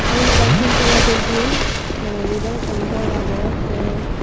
te iyen ekkan tin tala building toledi bhalokkani door agey te.